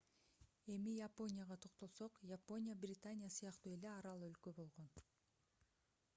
эми японияга токтолсок япония британия сыяктуу эле арал өлкө болгон